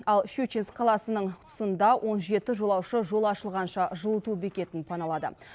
ал щучинск қаласының тұсында он жеті жолаушы жол ашылғанша жылыту бекетін паналады